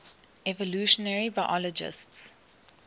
evolutionary biologists